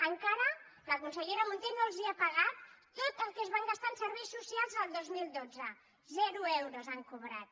encara la consellera munté no els ha pagat tot el que es van gastar en ser·veis socials el dos mil dotze zero euros han cobrat